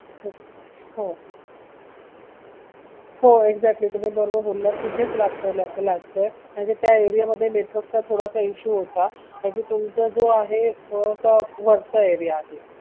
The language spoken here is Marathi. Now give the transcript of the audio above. हो हो exactly तुम्ही बरोबर बोललात तिथेच लागतंय म्हणजे त्या network चा थोडासा issue होता म्हणजे तुमचा जो आहे थोडासा वरचा area आहे